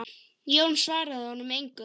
Jón svaraði honum engu.